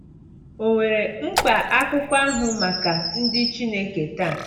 Ò nwere mkpa akụkọ ahụ maka ndị Chineke taa?